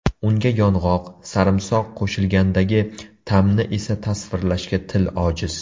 Unga yong‘oq, sarimsoq qo‘shilgandagi ta’mni esa tasvirlashga til ojiz.